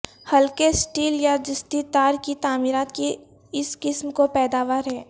ہلکے سٹیل یا جستی تار کی تعمیرات کی اس قسم کی پیداوار ہے